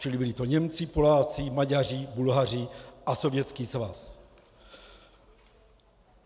Čili byli to Němci, Poláci, Maďaři, Bulhaři a Sovětský svaz.